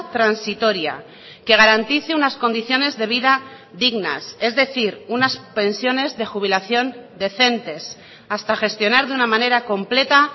transitoria que garantice unas condiciones de vida dignas es decir unas pensiones de jubilación decentes hasta gestionar de una manera completa